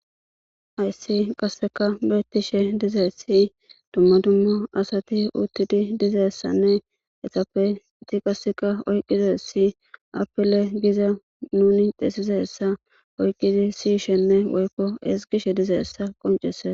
Hayssi qasseka beetishe dizesi dumma dummo asati uttidi dizessanne etappe ti qasseka oyqqize si apile giza nuni xesizessa oyqqidi siyishenne woykko esgishe dizeessa qoncese.